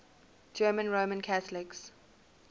german roman catholics